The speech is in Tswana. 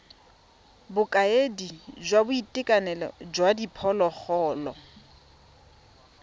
bokaedi jwa boitekanelo jwa diphologolo